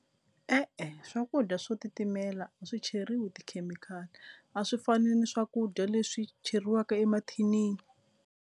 E-e swakudya swo titimela a swi cheriwa tikhemikhali a swi fani ni swakudya leswi cheriwaka emathinini.